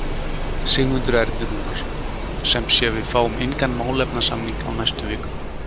Sigmundur Ernir Rúnarsson: Sem sé, við fáum engan málefnasamning á næstu vikum?